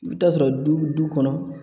I bɛ taa sɔrɔ du bi du kɔnɔ